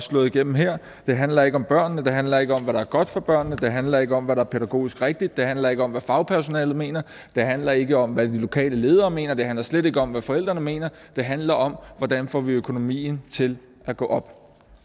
slået igennem her det handler ikke om børnene det handler ikke om hvad der er godt for børnene det handler ikke om hvad der er pædagogisk rigtigt det handler ikke om hvad fagpersonalet mener det handler ikke om hvad de lokale ledere mener og det handler slet ikke om hvad forældrene mener det handler om hvordan vi får økonomien til at gå op